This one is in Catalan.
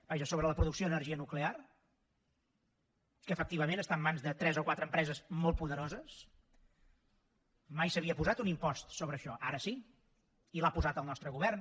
vaja sobre la producció d’energia nuclear que efectivament està en mans de tres o quatre empreses molt poderoses mai s’havia posat un impost sobre això ara sí i l’ha posat el nostre govern